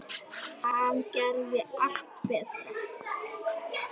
Hann gerði allt betra.